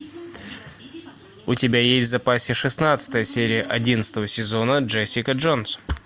у тебя есть в запасе шестнадцатая серия одиннадцатого сезона джессика джонс